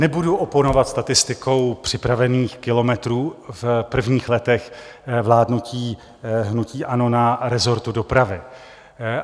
Nebudu oponovat statistikou připravených kilometrů v prvních letech vládnutí hnutí ANO na resortu dopravy.